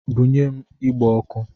Bunye m igbe ọkụ!